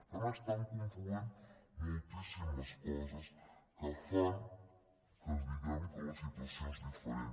per tant estan confluint moltíssimes coses que fan que diguem que la situació és diferent